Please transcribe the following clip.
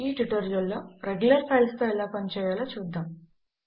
ఈ ట్యుటోరియల్ లో regular files తో ఎలా పని చేయాలో చూద్దాము